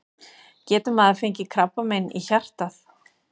Getur maður fengið krabbamein í hjartað?